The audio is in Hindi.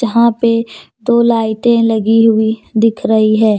वहां पे दो लाइटें लगी हुई दिख रही हैं।